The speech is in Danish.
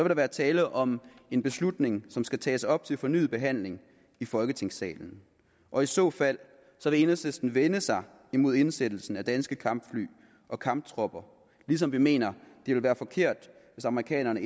der være tale om en beslutning som skal tages op til fornyet behandling i folketingssalen og i så fald vil enhedslisten vende sig imod indsættelsen af danske kampfly og kamptropper lige som vi mener det ville være forkert hvis amerikanerne